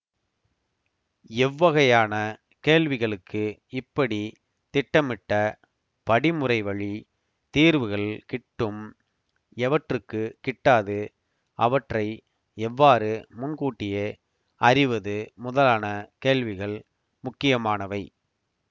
எவ்வகையான கேள்விகளுக்கு இப்படி திட்டமிட்ட படிமுறைவழி தீர்வுகள் கிட்டும் எவற்றுக்கு கிட்டாது அவற்றை எவ்வாறு முன்கூட்டியே அறிவது முதலான கேள்விகள் முக்கியமானவை